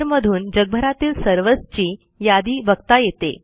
मधून जगभरातील सर्व्हर्सची यादी बघता येते